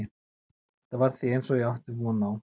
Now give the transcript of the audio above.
Þetta var því eins og ég átti von á.